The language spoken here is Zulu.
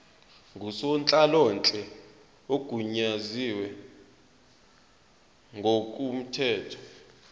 ngusonhlalonhle ogunyaziwe ngokomthetho